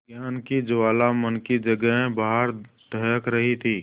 ज्ञान की ज्वाला मन की जगह बाहर दहक रही थी